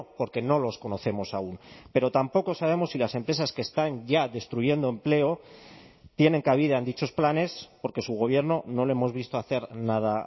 porque no los conocemos aún pero tampoco sabemos si las empresas que están ya destruyendo empleo tienen cabida en dichos planes porque su gobierno no lo hemos visto hacer nada